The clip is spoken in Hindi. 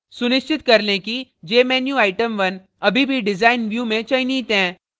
सुनिश्चित कर लें कि jmenuitem1 अभी भी design view में चयनित हैं